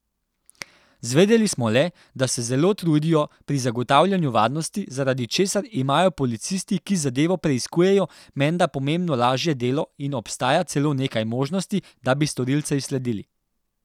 Zvedeli smo le, da se zelo trudijo pri zagotavljanju varnosti, zaradi česar imajo policisti, ki zadevo preiskujejo, menda pomembno lažje delo in obstaja celo nekaj možnosti, da bi storilca izsledili.